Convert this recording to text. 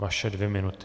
Vaše dvě minuty.